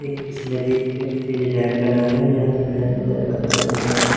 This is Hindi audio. एक किसी नदी ये किसी डॅम बना हुआ है जहां पे डॅम के किनारे पत्थर दिख रहे है।